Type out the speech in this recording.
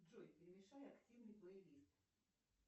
джой перемешайте активный плейлист